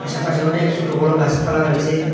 চারপাশে অনেক ছোট বড় গাসপালা রয়েসে।